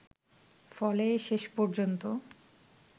ফলে শেষ পর্যন্ত